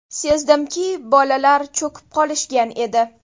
Sezdimki, bolalar cho‘kib qolishgan edi.